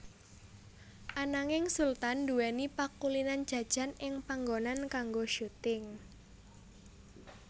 Ananging Sultan nduwèni pakulinan jajan ing panggonan kanggo syuting